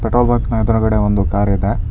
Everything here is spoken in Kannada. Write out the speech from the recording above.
ಪೆಟ್ರೋಲ್ ಬಂಕ್ ನ ಎದ್ರುಗಡೆ ಒಂದು ಕಾರ್ ಇದೆ.